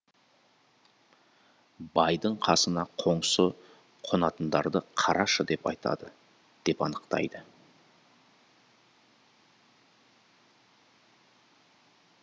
байдың қасына қоңсы қонатындарды қарашы деп айтады деп анықтайды